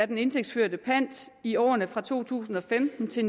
den indtægtsførte pant i årene fra to tusind og femten til